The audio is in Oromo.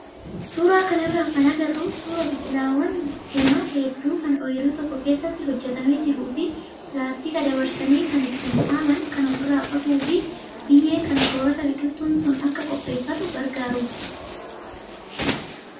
Suuraa kanarraa kan agarru suuraa biqilaawwan bunaa hedduu kan ooyiruu tokko keessatti hojjatamee jiruu fi pilaastika dabarsanii kan ittiin dhaaban kan ofirraa qabuu fi biyyee kan soorata biqiltuun sun akka qopheeffatu gargaarudha.